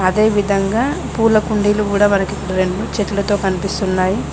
అదేవిధంగా పూల కుండీలు కూడ మనకి రెండు చెట్లతో కనిపిస్తున్నాయి.